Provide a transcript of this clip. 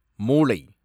மூளை